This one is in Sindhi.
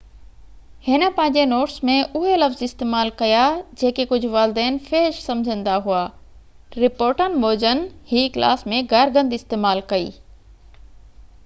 هن پنهنجي نوٽس ۾ اهي لفظ استعمال ڪيا جيڪي ڪجهه والدين فحش سمجهندا هئا رپورٽن موجن هي ڪلاس ۾ گار گند استعمال ڪئي